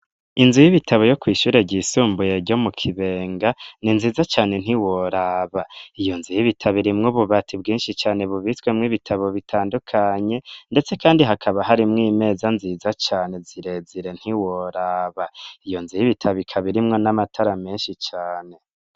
Inzu y'ibitabo yo kw'ishure ryisumbuye ryo mu kibenga ni nziza cane ntiworaba iyo nzu y'ibitabirimwo ububati bwinshi cane bubizwemwo ibitabo bitandukanye, ndetse, kandi hakaba harimwo imeza nziza cane zirezire ntiworaba iyo nzu y'ibitabika birimwo n'amatara menshi cane.